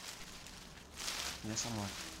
я сама